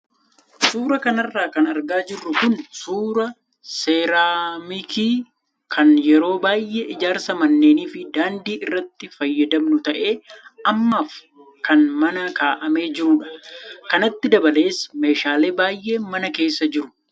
Suuraa kanarra kan argaa jirru kun suuraa seeraamikii kan yeroo baay' ee ijaarsa manneenii fi daandii irratti fayyadamnu ta'ee ammaaf kan mana kaa'amee jirudha. Kanatti dabalees meeshaaleen baay'een mana keessa jiru.